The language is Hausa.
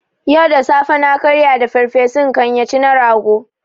Yau da safe na karya da farfesun kanya ci na rago